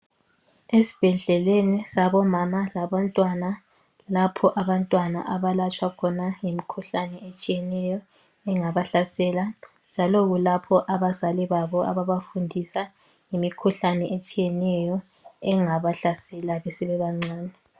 Esibhedleleni sabomama labantwana lapho abantwana abalatshwa khona ngemikhuhlane etshiyeneyo engabahlasela njalo kulapho abazali babo abangabafundisa ngemikhulane etshiyaneyo engabahlasela besebancane.